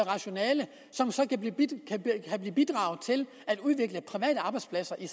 rationale som så kan bidrage til at udvikle private arbejdspladser i